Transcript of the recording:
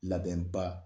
Labɛn ba